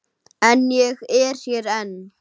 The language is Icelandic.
En ég er hér enn.